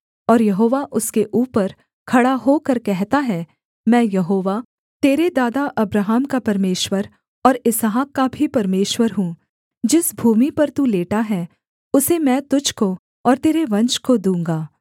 और यहोवा उसके ऊपर खड़ा होकर कहता है मैं यहोवा तेरे दादा अब्राहम का परमेश्वर और इसहाक का भी परमेश्वर हूँ जिस भूमि पर तू लेटा है उसे मैं तुझको और तेरे वंश को दूँगा